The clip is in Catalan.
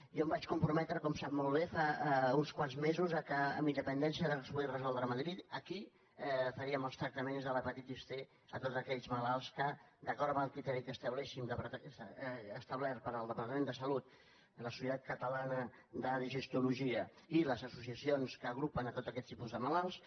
jo em vaig comprometre com sap molt bé fa uns quants mesos que amb independència del que es pogués resoldre a madrid aquí faríem els tractaments de l’hepatitis c a tots aquells malalts que d’acord amb el criteri establert pel departament de salut i la societat catalana de digestologia i les associacions que agrupen tots aquests tipus de malalts